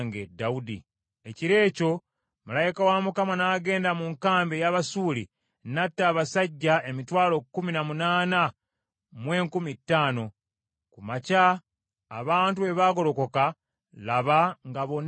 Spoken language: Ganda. Ekiro ekyo malayika wa Mukama n’agenda mu nkambi ey’Abasuuli n’atta abasajja emitwalo kkumi na munaana mu enkumi ttaano. Ku makya abantu bwe baagolokoka, laba nga bonna mirambo.